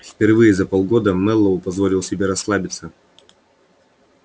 впервые за полгода мэллоу позволил себе расслабиться